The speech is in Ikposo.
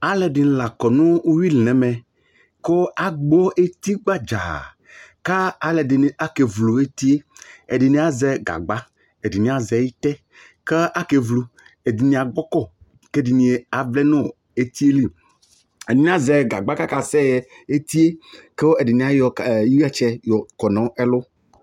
Alʋ ɛdɩnɩ la kɔ nʋ uyui li nʋ ɛmɛ, kʋ agbɔ eti gbadza, kʋ alʋ ɛdɩnɩ akevlu eti yɛ, ɛdɩnɩ azɛ gagba, ɛdɩnɩ azɛ ɩtɛ, kʋ akevlu, ɛdɩnɩ agbɔ kɔ, kʋ ɛdɩnɩ avlɛ nʋ eti yɛ li, ɛdɩnɩ azɛ gagba kʋ akasɛɣɛ eti yɛ, kʋ ɛdɩnɩ ayɔ ɩɣatsɛ yɔkɔ nʋ ɛlʋ